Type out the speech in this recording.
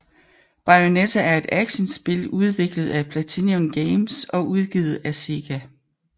Bayonetta er et actionspil udviklet af PlatinumGames og udgivet af Sega